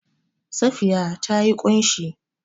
Safiya ta yi ƙunshi.